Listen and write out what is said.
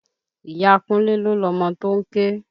Ìyá Kúnlé ló lọmọ tó ń ké